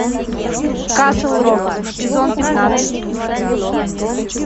касл рок сезон пятнадцать